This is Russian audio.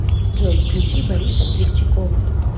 джой включи бориса сливчикова